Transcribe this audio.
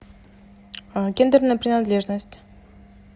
гендерная принадлежность